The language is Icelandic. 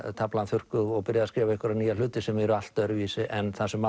taflan þurrkuð og byrjað að skrifa einhverja nýja hluti sem eru allt öðruvísi en það sem